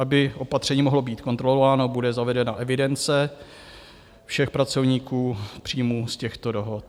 Aby opatření mohlo být kontrolováno, bude zavedena evidence všech pracovníků, příjmů z těchto dohod.